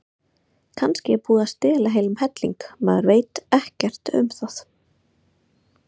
Kannski er búið að stela heilum helling, maður veit ekkert um það.